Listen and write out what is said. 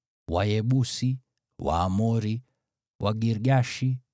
Wayebusi, Waamori, Wagirgashi,